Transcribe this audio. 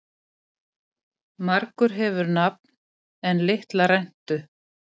Margur hefur nafn en litla rentu.